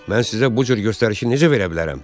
Mən sizə bu cür göstərişi necə verə bilərəm?